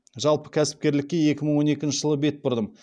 жалпы кәсіпкерлікке екі мың он екінші жылы бет бұрдым